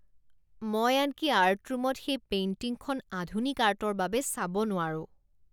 মই আনকি আৰ্ট ৰুমত সেই পেইন্টিংখন আধুনিক আৰ্টৰ বাবে চাব নোৱাৰোঁ।